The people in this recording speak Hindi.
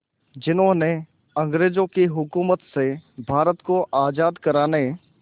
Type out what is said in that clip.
जिन्होंने अंग्रेज़ों की हुकूमत से भारत को आज़ाद कराने